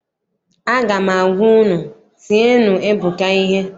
Aga m agwa unu, tienụ Ebuka ihe!